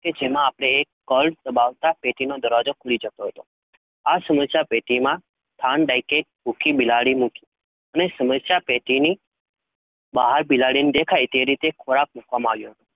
કે જેમાં, આપડે કર્ણ સમાવતા દરવાજો ખૂલી જતો હતો, આ સમસ્યા પેટી માં ભૂખી બિલાડી મુકી, અને સમસ્યા પેટી ની બહાર બિલાડી ને દેખાય એમ મૂક્યો હતો,